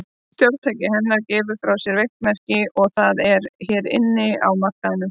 Stjórntæki hennar gefur frá sér veikt merki, og það er hérna inni á markaðnum.